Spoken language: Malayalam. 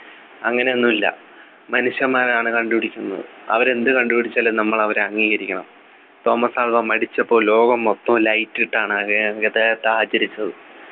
അങ്ങനെയൊന്നുമില്ല മനുഷ്യന്മാരാണ് കണ്ടുപിടിക്കുന്നത് അവർ എന്ത് കണ്ടുപിടിച്ചാലും നമ്മൾ അവരെ അംഗീകരിക്കണം തോമസ് ആൽവാ മരിച്ചപ്പോൾ ലോകം മൊത്തം light ഇട്ടാണ് ആകെ അദ്ദേഹത്തെ ആദരിച്ചത്